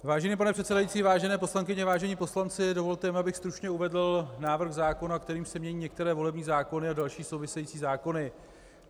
Vážený pane předsedající, vážené poslankyně, vážení poslanci, dovolte mi, abych stručně uvedl návrh zákona, kterým se mění některé volební zákony a další související zákony.